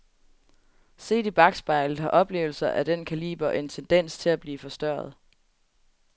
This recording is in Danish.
Set i bakspejlet har oplevelser ad den kaliber en tendens til at blive forstørret.